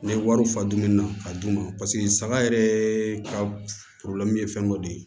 N'i ye wariw fa dumuni na ka d'u ma paseke saga yɛrɛ ka ye fɛn dɔ de ye